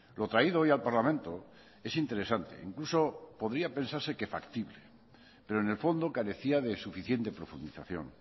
lo traído hoy al parlamento es interesante incluso podría pensarse que factible pero en el fondo carecía de suficiente profundización